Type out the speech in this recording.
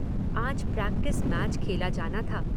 आज practice match खेला जाना था।